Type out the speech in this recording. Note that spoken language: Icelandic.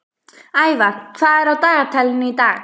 Ævar, hvað er á dagatalinu í dag?